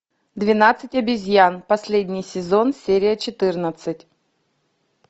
двенадцать обезьян последний сезон серия четырнадцать